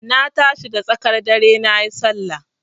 Na tashi da tsakar dare nayi Sallah.